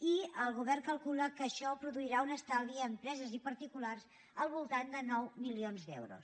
i el govern calcula que això produirà un estalvi a empreses i particulars del voltant de nou milions d’euros